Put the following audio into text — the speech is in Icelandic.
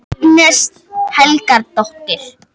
Agnes Helgadóttir